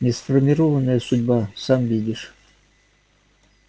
несформированная судьба сам видишь